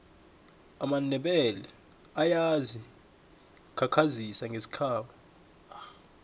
amandebele ayazi khakhazisa ngesikhabo